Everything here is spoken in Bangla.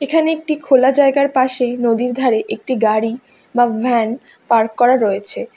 এখানে একটি খোলা জায়গার পাশে নদীর ধারে একটি গাড়ি বা ভ্যান পার্ক করা রয়েছে।